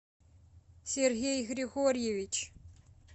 сергей григорьевич